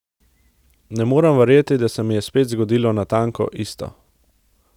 Ne morem verjeti, da se mi je spet zgodilo natanko isto.